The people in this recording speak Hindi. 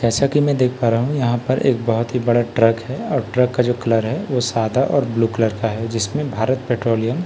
जैसा की मैं देख पा रहा हूँ यहाँ पर एक बहुत ही बड़ा ट्रक है और ट्रक का जो कलर है वो सादा और ब्लू कलर का है जिसमे भारत पेट्रोलियम लिखा --